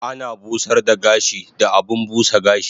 Ana busar da gashi da abun busa gashi